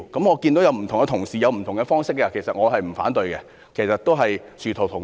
我知道其他同事提出了不同的方式，其實我不反對，因為殊途同歸。